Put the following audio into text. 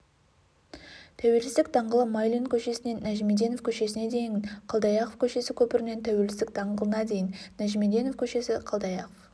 тәуелсіздік даңғылы майлин көшесінен нәжімеденов көшесіне дейін қалдаяқов көшесі көпірінен тәуелсіздік даңғылына дейін нәжімеденов көшесі қалдаяқов